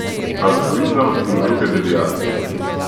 Altruizem in druge deviacije.